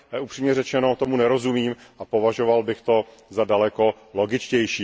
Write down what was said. Upřímně řečeno tomu nerozumím a považoval bych to za daleko logičtější.